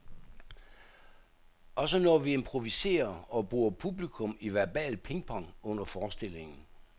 Også når vi improviserer og bruger publikum i verbal pingpong under forestillingen.